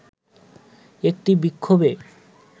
একটি বিক্ষোভে